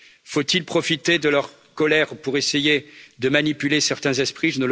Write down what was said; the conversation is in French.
Faut il profiter de leur colère pour essayer de manipuler certains esprits?